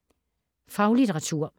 Faglitteratur